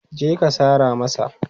Je ka sara masa!